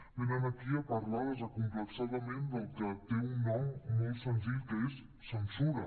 venen aquí a parlar desacomplexadament del que té un nom molt senzill que és censura